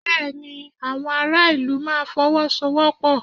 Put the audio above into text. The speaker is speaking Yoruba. Bẹ́ẹ̀ ni, àwọn ará ìlú máa Fọwọ́sowọ́pọ̀